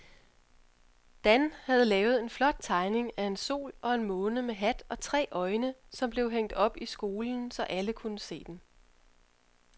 Dan havde lavet en flot tegning af en sol og en måne med hat og tre øjne, som blev hængt op i skolen, så alle kunne se den.